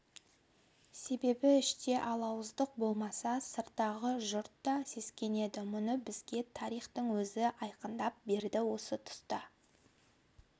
себебі іште алауыздық болмаса сырттағы жұрт та сескенеді мұны бізге тарихтың өзі айқындап берді осы тұста